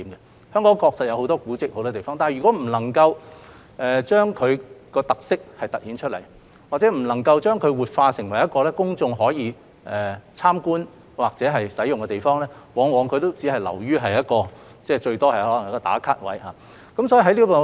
香港很多地方確實有很多古蹟，但如果不能夠將其特色突顯出來，或者不能夠把它活化成公眾可以參觀或使用的地方，它往往只能是一個"打卡"點。